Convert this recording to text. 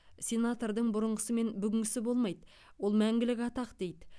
сенатордың бұрынғысы мен бүгінгісі болмайды ол мәңгілік атақ дейді